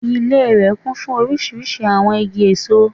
Ilé rè kún fún orísirísi àwon igi èso